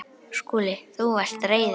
SKÚLI: Þú varst reiður.